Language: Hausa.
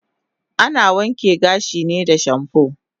Ana wanke gashi ne da shampoo